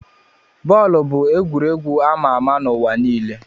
Bọọlụ bụ egwuregwu ama ama n'ụwa niile.